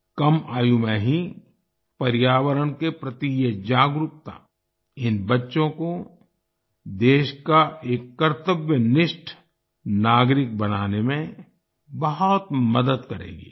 कम आयु में ही पर्यावरण के प्रति ये जागरूकता इन बच्चों को देश का एक कर्तव्यनिष्ठ नागरिक बनाने में बहुत मदद करेगी